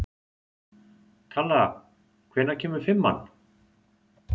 Kalla, hvenær kemur fimman?